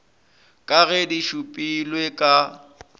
ka ge di šupilwe ka